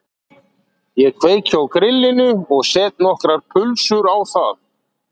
Ég kveiki á grillinu og set nokkrar pulsur á það